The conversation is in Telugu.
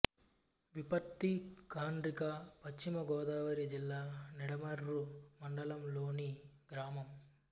విప్పర్తిఖండ్రిక పశ్చిమ గోదావరి జిల్లా నిడమర్రు మండలం లోని గ్రామం